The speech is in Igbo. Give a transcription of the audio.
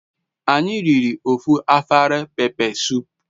Anyi riri ofu afere pepe sup